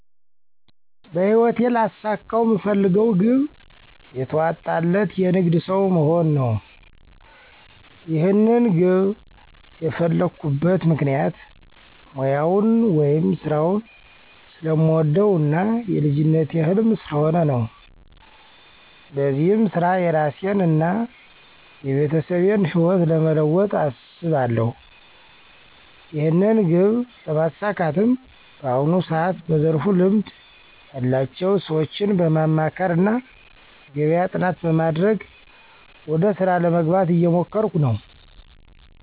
በህይወቴ ላሳካው ምፈልገው ግብ የተዋጣለት የንግድ ሠው መሆን ነው። ይህንን ግብ የፈላኩበት ምክንያት ሙያውን ወይም ስራውን ስለምወደው እና የልጅነቴ ህልም ስለሆነ ነው። በዚህም ስራ የራሴን እና የቤተሰቤን ህይወት ለመለወጥ አስባለሁ። ይህንን ግብ ለማሳካትም በአሁኑ ሰዓት በዘርፉ ልምድ ያላቸው ሰዎችን በማማከር እና የገበያ ጥናት በማድረግ ወደ ስራ ለመግባት እየሞከርኩ ነው።